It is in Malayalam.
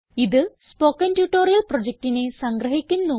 ഇത് സ്പോകെൻ ട്യൂട്ടോറിയൽ പ്രൊജക്റ്റിനെ സംഗ്രഹിക്കുന്നു